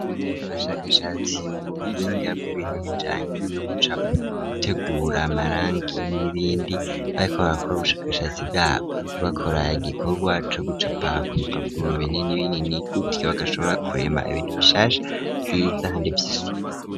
Abashakashatsi mu buhinga bw'ibintu bijanye no gutegura amarangi n'ibindi bayikora gakora ubushakashatsi bwabo bakora igikorwa co gucapa ku bipapuro binini binini gusa bagashobora kuremba ibintu bishasha vyiza hande vy'isuku.